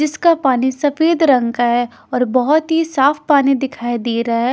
जिसका पानी सफेद रंग का है और बहोत ही साफ पानी दिखाई दे रहा है।